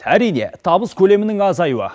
әрине табыс көлемінің азаюы